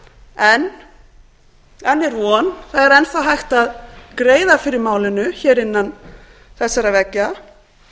en enn er von það er enn þá hægt að greiða fyrir málinu hér innan þessara veggja